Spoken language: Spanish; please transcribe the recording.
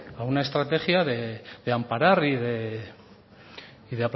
a una estrategia de amparar y de